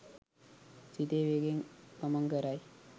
සිතේ වේගයෙන් ගමන් කරයි.